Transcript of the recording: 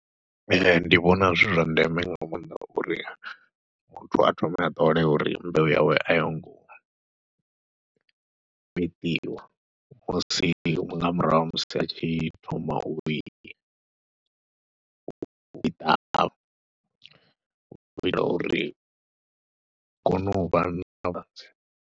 Ee, ndi vhona zwi zwa ndeme nga maanḓa uri muthu a thome a ṱole uri mbeu yawe a yo ngo fheṱiwa husi nga murahu ha musi vha tshi thoma u i ṱavha u itela uri ho novha .